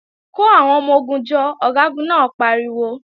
Kò àwọn ọmọ-ogun jọ, Ọ̀gágun náà pariwo!